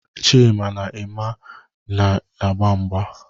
Chima na Eme na-agba mgba.